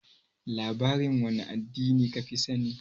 Labarin wane addini ka fi sani?